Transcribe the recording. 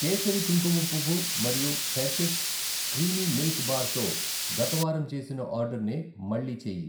కేసరి కుంకుమ పువ్వు మరియు హెర్షీస్ క్రీమీ మిల్క్ బార్ తో గత వారం చేసిన ఆర్డరర్నే మళ్ళీ చేయి.